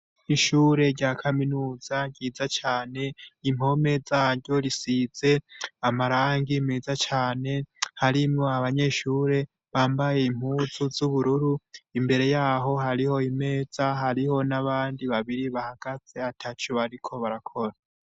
Ishure rya kaminuza ryiza cane, impome zaryo zisize amarangi meza cane, harimwo abanyeshure bambaye impuzu z'ubururu. Imbere yaho hariho imeza, hariho n'abandi babiri bahagaze ataco bariko barakora.